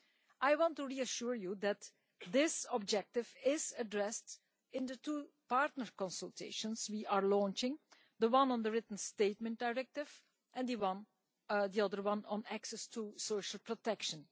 I want to reassure you that this objective is addressed in the two partner consultations we are launching the one on the written statement directive, and the other one on access to social protection.